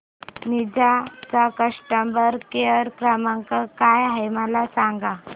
Ninja चा customer care क्रमांक काय आहे मला सांगा